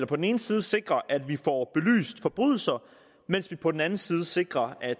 på den ene side sikrer at vi får belyst forbrydelser mens vi på den anden side sikrer at